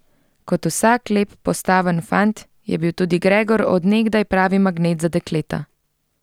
Kot vsak lep, postaven fant je bil tudi Gregor od nekdaj pravi magnet za dekleta.